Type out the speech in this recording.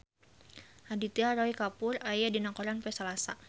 Aditya Roy Kapoor aya dina koran poe Salasa